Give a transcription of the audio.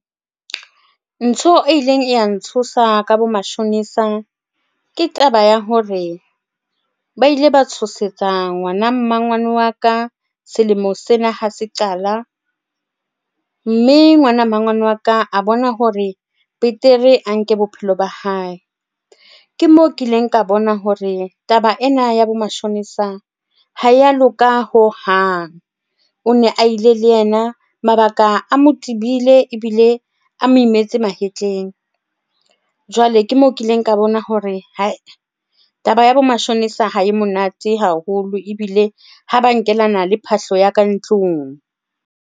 Ntho e ileng ya ntshosa ka bo mashonisa ke taba ya hore, ba ile ba tshosetsa ngwana mmangwane wa ka selemo sena ha se qala. Mme ngwana mmangwane wa ka a bona hore betere a nke bophelo ba hae. Ke moo kileng ka bona hore taba ena ya bo mashonisa ha ya loka hohang. O ne a ile le yena mabaka a mo tibile ebile a mo imetse mahetleng jwale ke mo kileng ka bona hore hai taba ya bo mashonisa ha e monate haholo ebile ha ba nkela nna le phahlo ya ka ntlung.